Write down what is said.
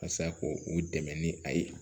Walasa ko u dɛmɛ ni a ye